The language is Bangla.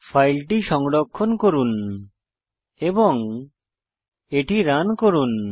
ফাইলটি সংরক্ষণ করুন এবং এটি রান করুন